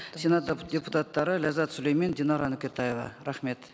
сенат депутаттары ләззат сүлеймен динар нүкетаева рахмет